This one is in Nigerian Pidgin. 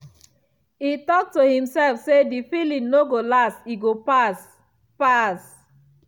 e talk to himself say the feeling no go last e go pass. pass.